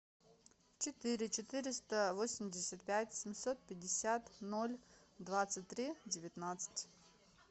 четыре четыреста восемьдесят пять семьсот пятьдесят ноль двадцать три девятнадцать